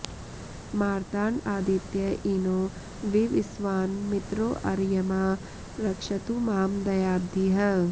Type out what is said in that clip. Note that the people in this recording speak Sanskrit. मार्ताण्ड आदित्य इनो विवस्वान् मित्रोऽर्यमा रक्षतु मां दयाब्धिः